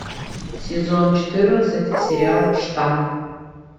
сезон четырнадцать сериал штамм